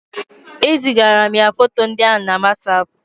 E zigara m ya foto ndị a na Wasapu